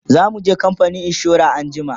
zamuje kamfanin insura anjima